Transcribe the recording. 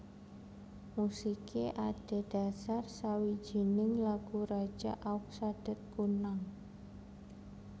Musiké adhedhasar sawijining lagu raja Aug Sadet Kunnang